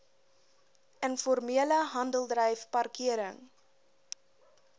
informele handeldryf parkering